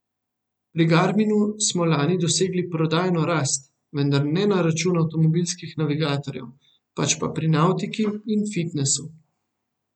Pri Garminu smo lani dosegli prodajno rast, vendar ne na račun avtomobilskih navigatorjev, pač pa pri navtiki in fitnesu.